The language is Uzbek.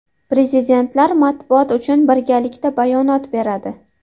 Prezidentlar matbuot uchun birgalikda bayonot beradi.